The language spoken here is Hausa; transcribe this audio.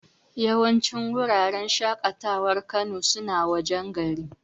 Yawancin wuraren shaƙatawar Kano suna wajen garin.